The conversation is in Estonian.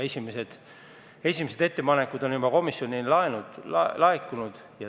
Esimesed ettepanekud on juba komisjonile laekunud.